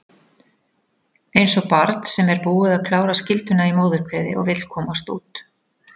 Eins og barn sem er búið að klára skylduna í móðurkviði og vill komast út.